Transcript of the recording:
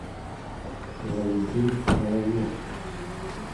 валентин соловьев